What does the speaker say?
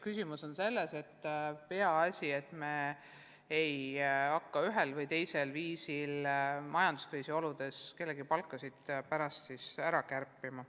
Küsimus on selles, et me ei hakkaks ühel või teisel viisil majanduskriisi oludes kellegi teise palkasid seepärast kärpima.